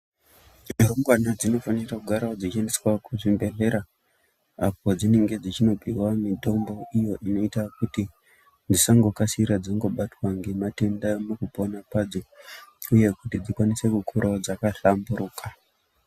Mbengwana dzinofana kugarawo dzeiendeswa kuchibhedhleya apo padzinenge dzeindopuhwa mutombo kuita kuti dzisangokasira dzobatwa nematenda mukupona kwadzo uye dzikure dzakahlamburuka.